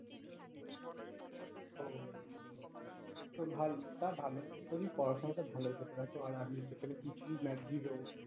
তো ভাল, তা ভালো তুমি পড়াশোনা ভালো করতে থাকো। আমি যেখানে কিছুই না zero